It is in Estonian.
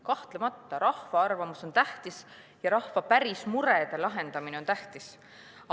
Kahtlemata, rahva arvamus on tähtis ja rahva päris murede lahendamine on tähtis.